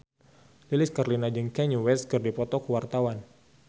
Lilis Karlina jeung Kanye West keur dipoto ku wartawan